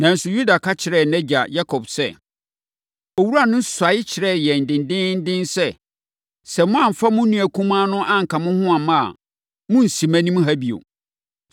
Nanso, Yuda ka kyerɛɛ nʼagya Yakob sɛ, “Owura no suae kyerɛɛ yɛn dendeenden sɛ, ‘Sɛ moamfa mo nua kumaa no anka mo ho amma a, monnsi mʼanim ha bio.’